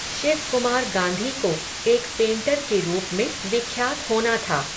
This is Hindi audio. शिवकुमार गाँधी को, एक पेंटर के रूप में, विख्यात होना था